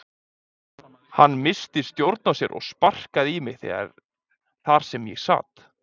Hann missti stjórn á sér og sparkaði í mig þar sem ég sat.